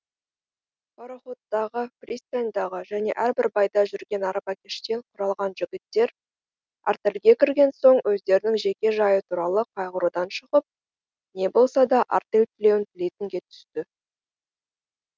пароходтағы пристаньдағы және әрбір байда жүрген арбакештен құралған жігіттер артельге кірген соң өздерінің жеке жайы туралы қайғырудан шығып не болса да артель тілеуін тілейтінге түсті